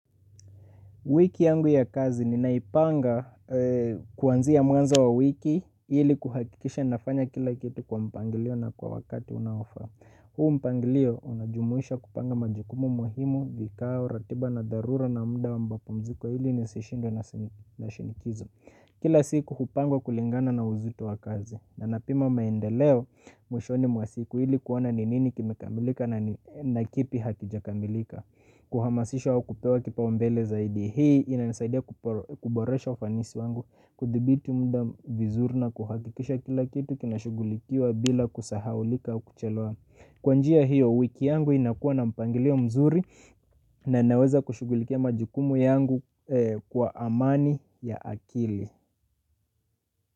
Wiki yangu ya kazi ni naipanga kuanzia mwanzo wa wiki ili kuhakikisha nafanya kila kitu kwa mpangilio na kwa wakati unaofa. Hu mpangilio unajumuisha kupanga majukumu muhimu, vikao, ratiba na darura na muda wambapo mziko ili nisishindwe na shinikizo. Kila siku kupanga kulingana na uzito wa kazi. Na napima maendeleo mwishoni mwa siku ili kuona ni nini kimekamilika na kipi hakijakamilika. Kuhamasisha au kupewa kipambele zaidi hii inanisaidia kuboresha ufanisi wangu. Kudhibiti muda vizuri na kuhakikisha kila kitu kinashughulikiwa bila kusahaulika au kuchelewa. Kwa njia hiyo wiki yangu inakuwa na mpangilio mzuri. Na naweza kushughulikia majukumu yangu kwa amani ya akili.